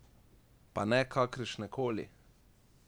Pa ne kakršne koli!